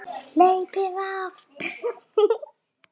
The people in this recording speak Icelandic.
Hleypið af!